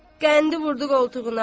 Qəndi vurdu qoltuğuna.